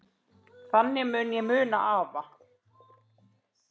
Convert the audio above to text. Þannig mun ég muna afa.